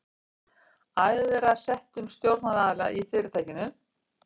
æðra settum stjórnaraðila í fyrirtækinu.